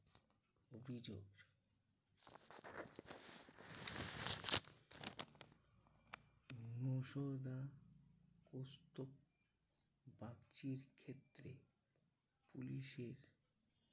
অভিযোগ কৌস্তভ বাগচীর ক্ষেত্রে পুলিশের